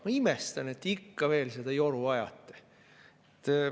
Ma imestan, et te ikka veel seda joru ajate.